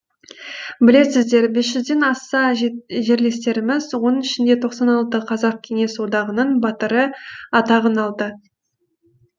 білесіздер бес жүзден аса жерлестеріміз оның ішінде тоқсан алты қазақ кеңес одағының батыры атағын алды